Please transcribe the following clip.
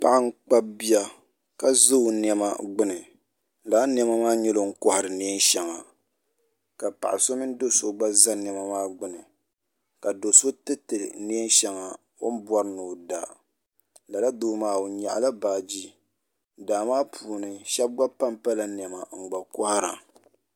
Paɣa n kpabi bia ka za o nɛma gbuni lala nɛma maa nyɛla o ni kɔhiri nɛɛn shɛli ka paɣa so mini doo so gba za nɛma maa gbuni ka doo so tiriti nɛɛn shɛŋa o ni bɔri ni o da lala doo maa o n yɛɣila baaji daa maa puuni shɛba gba pa n pala nɛma n gba kɔhira.